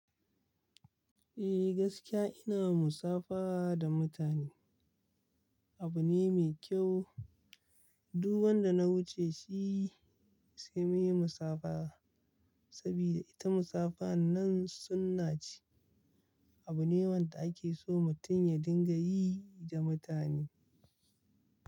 Eh gaskiya ina musafaha da mutane. Abu ne mai kyau. Duk wan da na wuce shi sai muyi musabaha saboda ita musabaha nan sunnah ce. Abu ne wanda ake so mutum ya dinga yi da mutane.